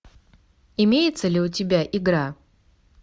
имеется ли у тебя игра